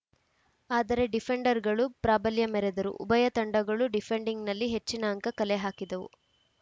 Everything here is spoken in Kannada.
ಆದರೆ ಡಿಫೆಂಡರ್‌ಗಳು ಪ್ರಾಬಲ್ಯ ಮೆರೆದರು ಉಭಯ ತಂಡಗಳು ಡಿಫೆಂಡಿಂಗ್‌ನಲ್ಲಿ ಹೆಚ್ಚಿನ ಅಂಕ ಕಲೆ ಹಾಕಿದವು